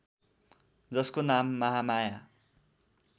जसको नाम महामाया